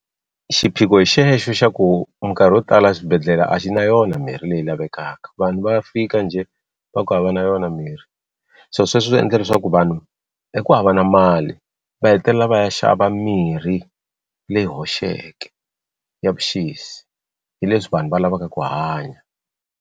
Xiphiqo hi xexo xa ku minkarhi yo tala swibedhlele a xi na yona mirhi leyi lavekaka vanhu va fika njhe va ku hava na yona mirhi se sweswo swi endle leswaku vanhu hi ku hava na mali va hetelela va ya xava mirhi leyi hoxeke ya vuxisi hi leswi vanhu va lavaka ku hanya.